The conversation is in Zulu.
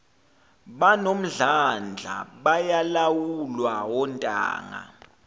banomdlandla bayalawulwa ontanga